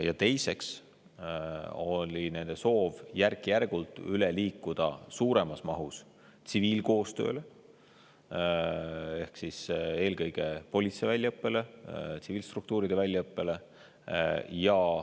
Ja teiseks oli nende soov järk-järgult üle minna suuremas mahus tsiviilkoostööle ehk siis eelkõige politsei väljaõppele, tsiviilstruktuuride väljaõppele.